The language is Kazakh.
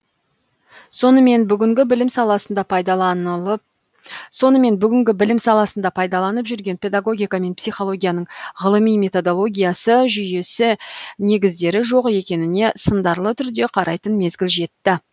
сонымен бүгінгі білім саласында пайдаланып жүрген педагогика мен психологияның ғылыми методологиясы жүйесі негіздері жоқ екеніне сындарлы түрде қарайтын мезгіл жетті